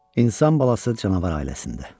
İnsan balası canavar ailəsində.